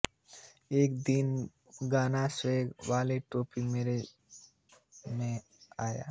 एक दिन गाना स्वैग वाली टोपी मेरे मन में आया